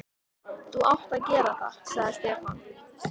Þú átt að gera það, sagði Stefán.